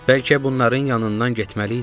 Bəlkə bunların yanından getməliydim.